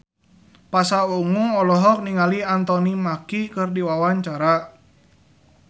Pasha Ungu olohok ningali Anthony Mackie keur diwawancara